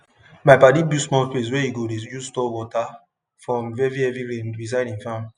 my padi build small place wey e go dey use store water from heavy heavy rain beside him farm